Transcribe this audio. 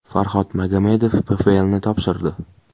Farhod Magomedov PFLni topshirdi.